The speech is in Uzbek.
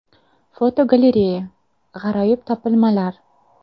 Fotogalereya: G‘aroyib topilmalar.